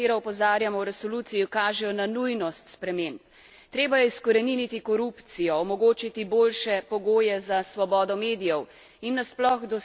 Treba je izkoreniniti korupcijo, omogočiti boljše pogoje za svobodo medijev in nasploh doseči višjo raven politične kulture in kulture dialoga.